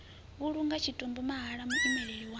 vhulunga tshitumbu mahala muimeli wa